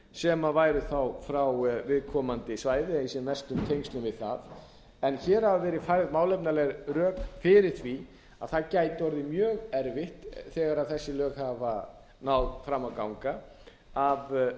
sem væru þá frá viðkomandi svæði eða í sem mestum tengslum við það hér hafa verið færð málefnaleg rök fyrir því að það gæti orðið mjög erfitt þegar þessi lög hafa náð fram að ganga af